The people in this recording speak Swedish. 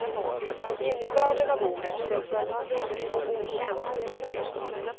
Innebörden av ordet sensualitet tycks okänd. punkt